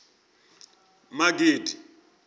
magidi